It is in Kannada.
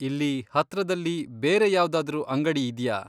ಇಲ್ಲಿ ಹತ್ರದಲ್ಲಿ ಬೇರೆ ಯಾವ್ದಾದ್ರೂ ಅಂಗಡಿ ಇದ್ಯಾ?